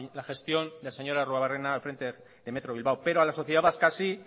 la gestión del señor arruebarrena al frente de metro bilbao pero a la sociedad vasca sí